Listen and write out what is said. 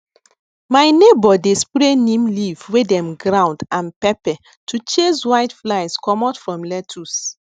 my neighbour dey spray neem leaf wey dem ground and pepper to chase whiteflies comot from lettuce